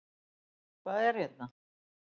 Hvað er hérna?